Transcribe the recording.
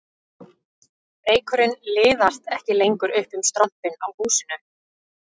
Reykurinn liðast ekki lengur upp um strompinn á húsinu